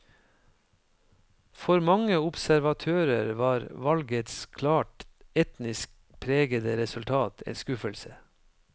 For mange observatører var valgets klart etnisk pregede resultat en skuffelse.